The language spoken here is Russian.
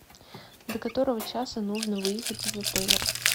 до которого часа нужно выехать из отеля